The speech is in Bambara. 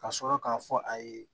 Ka sɔrɔ k'a fɔ a ye